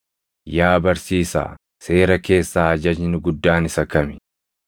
“Yaa barsiisaa, seera keessaa ajajni guddaan isa kami?”